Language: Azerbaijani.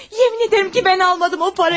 Yemin edirem ki, mən almadım o parayı.